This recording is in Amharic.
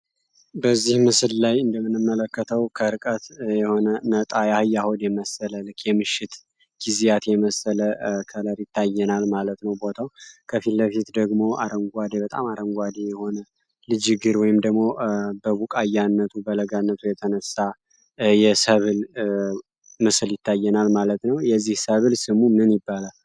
በዚህ ላይ እንደምንመለከተው ከርቀት የሆነ የአህያ ሆድ የመሰለ የምሽት ጊዜያት የመሰለ ከለር ይታይናል ማለት ነው ቦታው ከፍት ለፊት ደግሞ አረንጓዴ የሆነ በጣም አረንጓዴ የሆነ ልጅ እግር ወይም ደግሞ በቡቃያነቱ የተነሳ የሰብል አይነት ይታየናል ማለት ነው። ለመሆኑ የዚህ ምስል ስም ምን ይባላል?